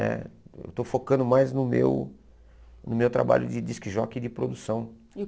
Né? Eu estou focando mais no meu no meu trabalho de disc jockey e de produção